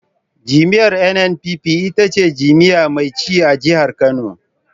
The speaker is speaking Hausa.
Jam'iyyar NNPP ita ce jam'iyya mai ci a jihar Kano.